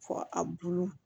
Fɔ a bulu